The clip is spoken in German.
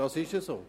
Dem ist so.